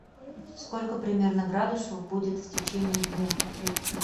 сколько примерно градусов будет в течение дня